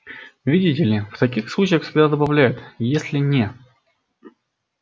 видите ли в таких случаях всегда добавляют если не